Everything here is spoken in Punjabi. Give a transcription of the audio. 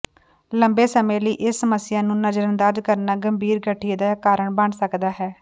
ਲੰਬੇ ਸਮੇਂ ਲਈ ਇਸ ਸਮੱਸਿਆ ਨੂੰ ਨਜ਼ਰਅੰਦਾਜ਼ ਕਰਨਾ ਗੰਭੀਰ ਗਠੀਏ ਦਾ ਕਾਰਨ ਬਣ ਸਕਦਾ ਹੈ